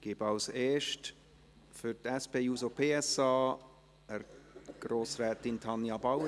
Als Erstes spricht Tanja Bauer für die SP-JUSO-PSA.